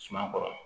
Suma kɔrɔ